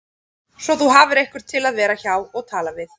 Svo þú hafir einhvern til að vera hjá og tala við